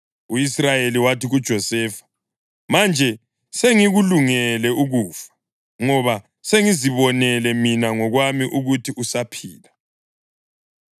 U-Israyeli wathi kuJosefa, “Manje sengikulungele ukufa, ngoba sengizibonele mina ngokwami ukuthi usaphila.”